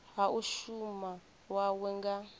ha u shuma hawe nga